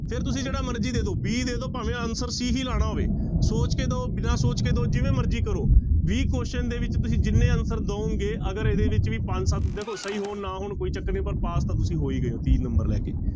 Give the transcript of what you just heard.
ਫਿਰ ਤੁਸੀਂ ਜਿਹੜਾ ਮਰਜ਼ੀ ਦੇ ਦਓ b ਦੇ ਦਓ ਭਾਵੇਂ answer c ਵੀ ਲਾਉਣਾ ਹੋਵੇ, ਸੋਚ ਕੇ ਦਓ ਬਿਨਾਂ ਸੋਚ ਕੇ ਦਓ ਜਿਵੇਂ ਮਰਜ਼ੀ ਕਰੋ ਵੀਹ question ਦੇ ਵਿੱਚ ਤੁਸੀਂ ਜਿੰਨੇ answer ਦਓਗੇ ਅਗਰ ਇਹਦੇ ਵਿੱਚ ਵੀ ਪੰਜ ਸੱਤ ਦੇਖੋ ਸਹੀ ਹੋਣ ਨਾ ਹੋਣ ਕੋਈ ਚੱਕਰ ਨੀ ਪਰ ਪਾਸ ਤਾਂ ਤੁਸੀਂ ਹੋ ਹੀ ਗਏ ਤੀਹ number ਲੈ ਕੇ।